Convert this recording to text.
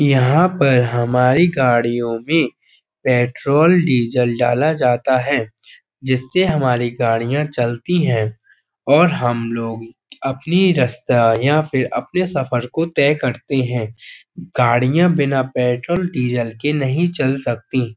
यहाँ पर हमारी गाड़ियों में पेट्रोल डीजल डाला जाता है। जिससे हमारी गाड़ियां चलती हैं और हम अपनी रस्ता या फिर अपने सफर को तय करते हैं। गाड़ियां बिना पेट्रोल डीजल के नहीं चल सकती।